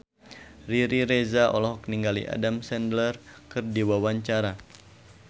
Riri Reza olohok ningali Adam Sandler keur diwawancara